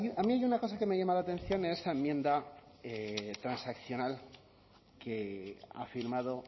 claro a mí hay una cosa que me llama la atención en esa enmienda transaccional que ha firmado